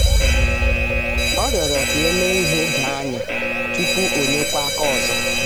o rịọrọ ka e mee ihe doo anya tupu o nyekwa aka ọzọ